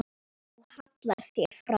Þú hallar þér fram.